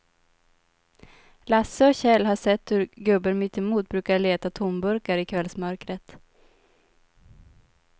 Lasse och Kjell har sett hur gubben mittemot brukar leta tomburkar i kvällsmörkret.